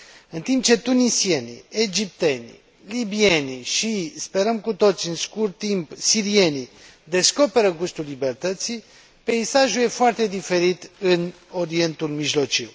În timp ce tunisienii, egiptenii, libienii și, sperăm cu toții, în scurt timp, sirienii, descoperă gustul libertății, peisajul e foarte diferit în Orientul Mijlociu.